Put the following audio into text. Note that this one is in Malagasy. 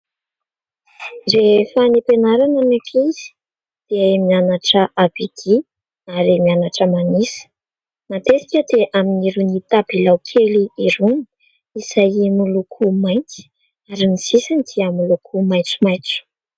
Rehefa any am-pianarana ny ankizy dia miannatra A B D ary mianatra manisa. Matetika dia amin'irony tabilao kely irony izay miloko mainty ary ny sisiny dia miloko maitsomaitso.